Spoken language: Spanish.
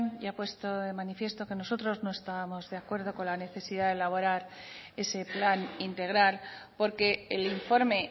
ya he puesto de manifiesto que nosotros no estábamos de acuerdo con la necesidad de elaborar ese plan integral porque el informe